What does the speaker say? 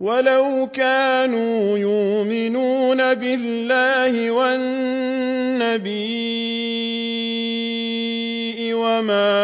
وَلَوْ كَانُوا يُؤْمِنُونَ بِاللَّهِ وَالنَّبِيِّ وَمَا